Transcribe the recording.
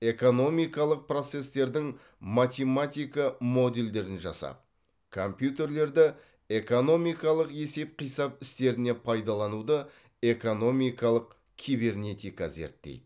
экономикалық процестердің математика модельдерін жасап компьютерлерді экономикалық есеп қисап істеріне пайдалануды экономикалық кибернетика зерттейді